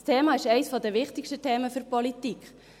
Das Thema ist eines der wichtigsten Themen für die Politik.